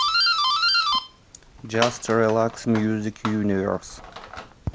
джаст релакс мьюзик юниверс